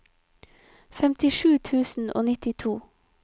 femtisju tusen og nittito